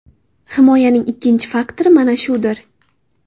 Himoyaning ikkinchi faktori mana shudir.